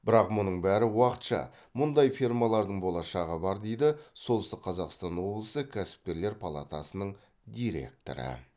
бірақ мұның бәрі уақытша мұндай фермалардың болашағы бар дейді солтүстік қазақстан облысы кәсіпкерлер палатасының директоры